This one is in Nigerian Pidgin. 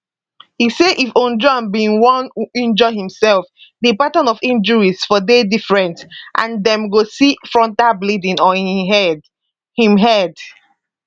e say if ojwang bin wunjure imsef di pattern of injuries for dey different and dem go see frontal bleeding on im head im head